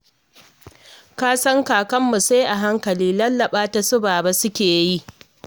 Ka san kakarmu sai a hankali, lallaɓa ta su Baba suke yi